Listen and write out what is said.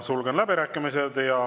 Sulgen läbirääkimised.